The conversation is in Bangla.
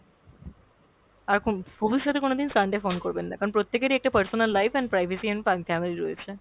আর কোন~ ভবিষ্যতে কোনোদিন Sunday phone করবেন না, কারণ প্রত্যেকেরই একটা personal life and privacy and রয়েছে।